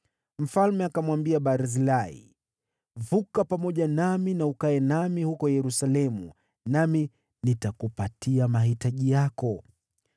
Mfalme akamwambia Barzilai, “Vuka pamoja nami na ukae nami huko Yerusalemu, nami nitakupatia mahitaji yako.”